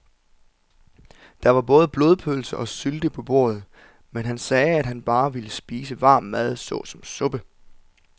Der var både blodpølse og sylte på bordet, men han sagde, at han bare ville spise varm mad såsom suppe.